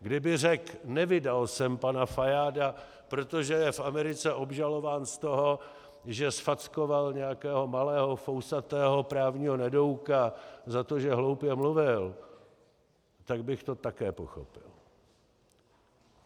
Kdyby řekl: Nevydal jsem pana Fajáda, protože je v Americe obžalován z toho, že zfackoval nějakého malého fousatého právního nedouka za to, že hloupě mluvil - tak bych to také pochopil.